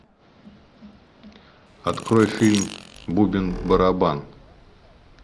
открой фильм бубен барабан